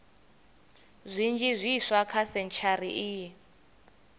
zwinzhi zwiswa kha sentshari iyi